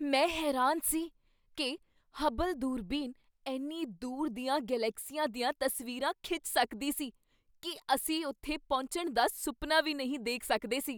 ਮੈਂ ਹੈਰਾਨ ਸੀ ਕੀ ਹਬਲ ਦੂਰਬੀਨ ਇੰਨੀ ਦੂਰ ਦੀਆਂ ਗਲੈਕਸੀਆਂ ਦੀਆਂ ਤਸਵੀਰਾਂ ਖਿੱਚ ਸਕਦੀ ਸੀ ਕੀ ਅਸੀਂ ਉੱਥੇ ਪਹੁੰਚਣ ਦਾ ਸੁਪਨਾ ਵੀ ਨਹੀਂ ਦੇਖ ਸਕਦੇ ਸੀ!